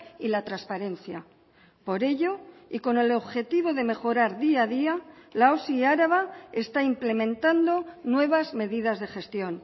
y la transparencia por ello y con el objetivo de mejorar día a día la osi araba está implementando nuevas medidas de gestión